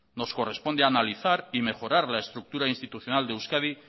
nos corresponde analizar y mejorar la estructura institucional de euskadi